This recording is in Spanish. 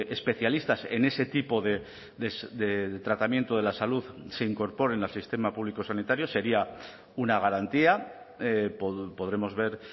especialistas en ese tipo de tratamiento de la salud se incorporen al sistema público sanitario sería una garantía podremos ver